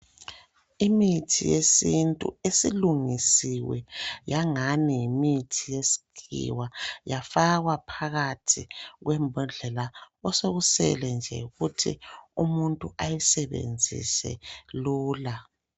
Imithi yesintu isilungisiwe yangani yimithi yesikhiwa yafakwa phakathi kwembodlela osekusele nje yikuthi umuntu awusebenzise lula.